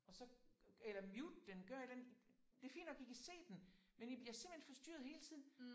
Og så eller mute den gør et eller andet. Det fint nok I kan se den men I bliver simpelthen forstyrret hele tiden